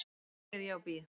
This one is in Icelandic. Hér er ég og bíð.